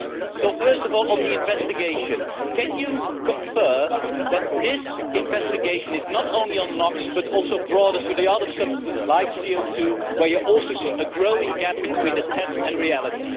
So, first of all on the investigation, can you confirm that this investigation is not only into Nox but also broader, taking in the other substances like CO2 where you also see a growing gap between the test and reality?